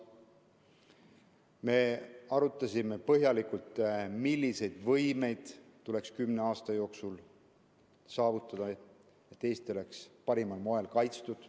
Me arutasime põhjalikult, millised võimed tuleks kümne aasta jooksul saavutada, et Eesti oleks parimal moel kaitstud.